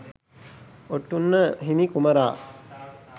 ඔටුන්න හිමි කුමරා